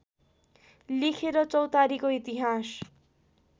लेखेर चौतारीको इतिहास